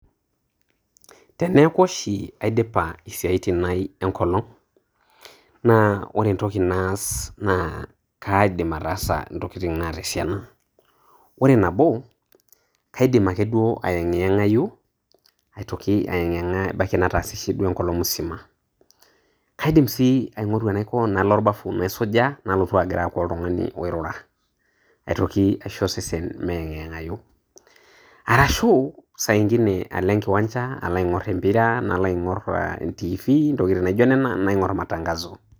Teneaku oshi aidipa isiaitin ainei enkolong' naa kore entoki naas naa aidim ataasa intokitin naata esiana. Oore nabo naa kaidim ake duo aieng'eng'ayu aitoki aieg'ieng'a ebaiki nataasishe duo enkolong' musima. Kaidim sii aing'oru enaiko nalo olbafu naisuja nalotu ag'ira aaku oltung'ani oirura, aitoki aisho osesen meing'ieng'ayu, arashu saa ingine alo enkiwanja alo aing'or empira nalo aing'or entiifi intokitin naijo nena naing'or matangazo.